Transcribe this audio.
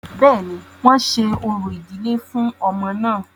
Bẹ́ẹ̀ni, wọ́n ṣe orò ìdílé fún ọmọ náà